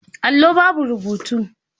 Allo babu rubutu.